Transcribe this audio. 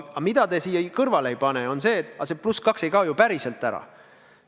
Aga mida te siia kõrvale ei pane, on see, et see +2 ei kao ju päriselt ära.